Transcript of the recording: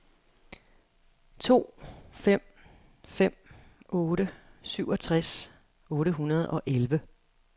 to fem fem otte syvogtres otte hundrede og elleve